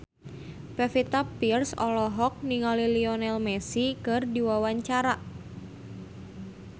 Pevita Pearce olohok ningali Lionel Messi keur diwawancara